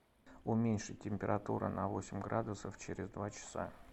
уменьшить температуру на восемь градусов через два часа